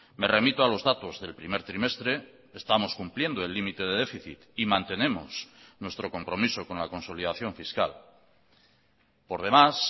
me remito a los datos del primer trimestre estamos cumpliendo el límite de déficit y mantenemos nuestro compromiso con la consolidación fiscal por demás